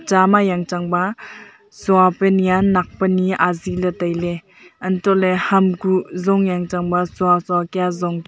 cha ma jang chang ba chawpe ni a nak pe ni azi ley tailey antoh ley ham kuk zong yanchang ba chow chow kya zong--